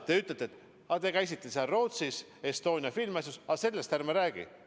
Te ütlete, et ma käisin seal Rootsis Estonia filmi asjus, aga et sellest ärme räägime.